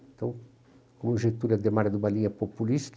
Então, o Getúlio e o Adhemar eram de uma linha populista,